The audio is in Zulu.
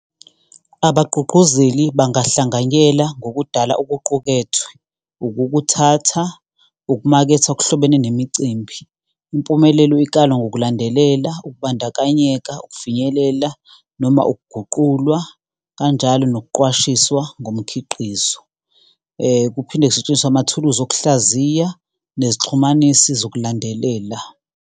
Abagqugquzeli bangahlanganyela ngokudala okuqukethwe, ukukuthatha, ukumaketha okuhlobene nemicimbi. Impumelelo ikalwa ngokulandelela ukubandakanyeka, ukufinyelela noma ukuguqulwa, kanjalo nokuqwashiswa ngomkhiqizo. Kuphinde kusetshenziswe amathuluzi okuhlaziya nezixhumanisi zokulandelela.